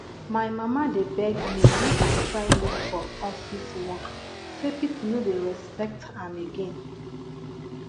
my mama dey beg me make i try look for office work say people no dey respect am again